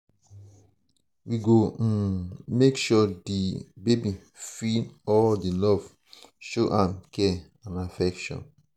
we go um make sure di um baby feel all di love show am care and affection.